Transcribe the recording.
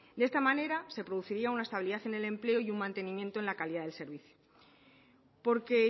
de esta manera se produciría una estabilidad en el empleo y un mantenimiento en la calidad del servicio porque